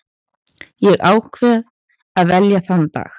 Ég ákvað að velja þann dag.